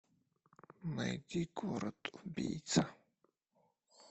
найди город убийца